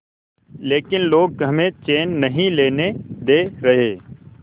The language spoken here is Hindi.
लेकिन लोग हमें चैन नहीं लेने दे रहे